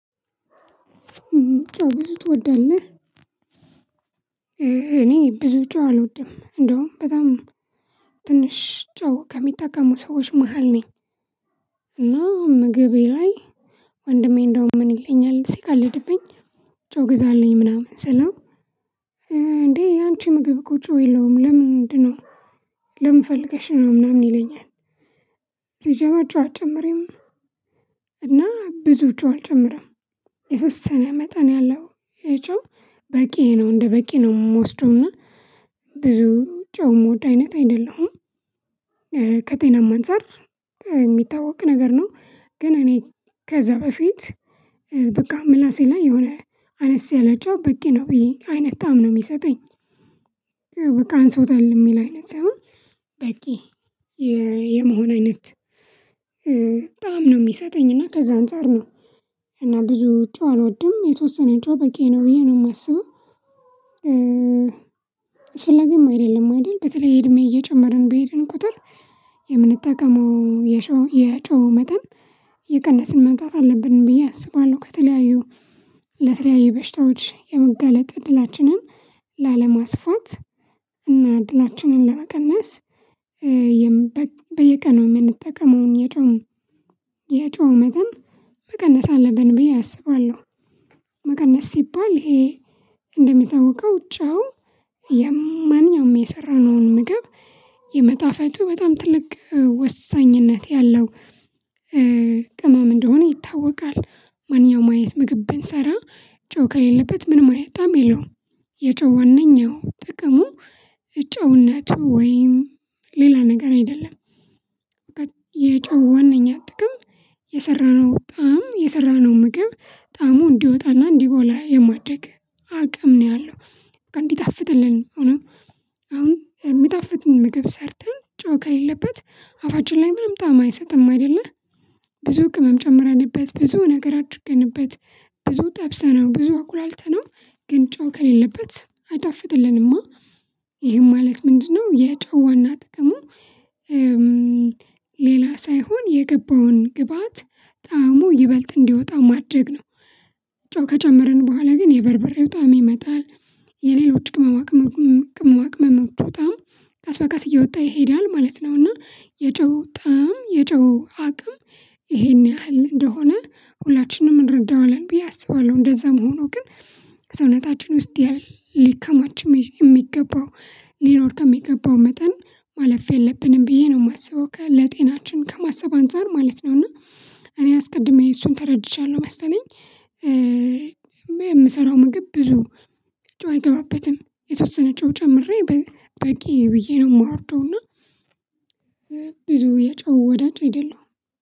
ጨው ብዙ ትወዳለህ እኔ ብዙ ጨው አልወድም እንደውም በጣም ትንሽ ጨው ከሚጠቀሙ ሰዎች መሃል ነኝ። እና ምግቤ ላይ ወንድሜ እንደውም ምን ይለኛል ሲቀልድብኝ ጨው ግዛልኝ ምናምን ስለው። እንዴ ያንቺ ምግብ እኮ ጨው የለውም ለምን ምንድነው? ለምን ፈልገሽ ነው ምናምን ይለኛል። ሲጀመር ጨው አጨምሪም እና ብዙ ጨው አልጨምርም የተወሰነ መጠን ያለው የጨው በቂዬ ነው እንደበቂ ነው የምወስደውና ብዙ ጨው የምወድ አይነት አይደለሁም። ከጤናም አንፃር የሚታወቅ ነገር ነው። ግን እኔ ከዛ በፊት በቃ ምላሴ ላይ የሆነ አነስ ያላ ጨው በቂ ነው ብዬ አይነት ታም ነው የሚሰጠኝ። በቃ አንሶታል የሚል አይነት ሳይሆን በቂ የመሆን አይነት በጣም ነው የሚሰጠኝ እና ከዛ አንፃር ነው። እና ብዙ ጨው አልወድም የተወሰነ ጨው በቂዬ ነው ብዬ ነው የማስበው። አስፈላጊም አይደለም አይደል በተለይ እድሜ እየጨመርን በሄድን ቁጥር የምንጠቀመው የጨው መጠን እየቀነስን መምጣት አለብን ብዬ አስባለሁ። ከተለያዩ ለተለያዩ በሽታዎች የመጋለጥ እድላችንን ላለማስፋት እና እድላችንን ለመቀነስ በየቀኑ የምንጠቀመውን የጨው የጨው መጠን መቀነስ አለብን ብዬ አስባለሁ። መቀነስ ሲባል ይሄ እንደሚታወቀው ጨው የማንኛውም የሰራነውን ምግብ የመጣፈጡ በጣም ትልቅ ወሳኝነት ያለው ቅማም እንደሆነ ይታወቃል። ማንኛውም አይነት ምግብ ብንሰራ ጨው ከሌለበት ምንም አይነት ጣዕም የለውም። የጨህ ዋናኛው ጥቅሙ ጨውነቱ ወይም ሌላ ነገር አይደለም። የጨው ዋናኛ ጥቅም የሰራነው ጣዕም የሰራነው ምግብ ጣዕሙ እንዲወጣና እንዲጎላ የማድረግ አቅም ነው ያለው እንዲጣፍጥልን አሁን። የሚጣፍጥ ምግብ ሰርተን ጨው ከሌለበት አፋችን ላይ ምንም ጣም አይሰጥም አይደለ። ብዙ ቅምም ጨምረንበት ብዙ ነገር አድርገንበት ብዙ ጠብሰነው ብዙ አቁላልተነው ግን ጫው ከሌለበት አይጣፍጥልንማ አአ ይሄም ማለት ምንድነው የጨው ዋና ጥቅሙ? ሌላ ሳይሆን የገባውን ግብአት ጣዕሙ ይበልጥ እንዲወጣ ማድረግ ነው። ጨው ከጨመርን በኋላ ግን የበርበሬው ጣዕም ይመጣል የሌሎች ቅመማ ቅመማ ቅመማ ቅመሞቹ ጣዕም ቀስ በቀስ እየወጣ ይሄዳል ማለት ነው። እና የጨው ጣም የጨው አቅም ይሄን ያህል እንደሆነ ሁላችንም እንረዳዋለን ብዬ አስባለሁ። እንደዛም ሆኖ ግን ሰውነታችን ውስጥ ሊከማች የሚገባው ሊኖር ከሚገባው መጠን ማለፍ የለብንም ብዬ ነው የማስበው ከ ለጤናችን ከማሰብ አንፃር ማለት ነው። እና እኔ አስቀድሜ እሱን ተረድቻለሁ መሰለኝ። የምሰራው ምግብ ብዙ ጨው አይገባበትም የተወሰነ ጨው ጨምሬ በቂ ብዬ ነው የማወርደው እና። ብዙ የጨው ወዳጅ አይደለሁም።